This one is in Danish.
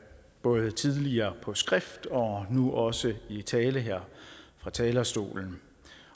både tidligere på skrift og nu også i tale her fra talerstolen